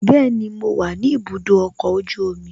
Bẹẹni, mo wa ni ibùdó ọkọ̀ ojú omi